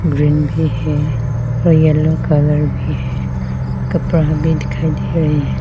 Green भी है और येलो कलर भी है कपड़ा भी दिखाई दे रहे हैं।